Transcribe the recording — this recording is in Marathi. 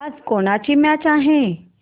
आज कोणाची मॅच आहे